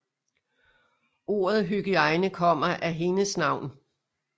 Ordet hygiejne kommer af hendes navn